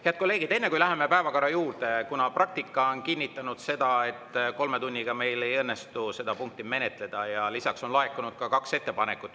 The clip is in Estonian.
Head kolleegid, enne kui läheme päevakorra juurde, kuna praktika on kinnitanud seda, et kolme tunniga meil ei õnnestu seda punkti menetleda, on laekunud kaks ettepanekut.